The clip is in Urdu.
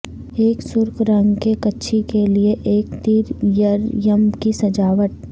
ایک سرخ رنگ کے کچھی کے لئے ایک تیریریم کی سجاوٹ